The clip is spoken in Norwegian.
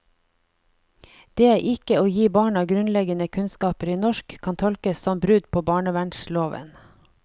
Det ikke å gi barna grunnleggende kunnskaper i norsk kan tolkes som brudd på barnevernsloven.